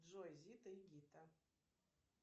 джой зита и гита